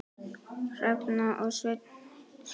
Hrefna og Sveinn skildu.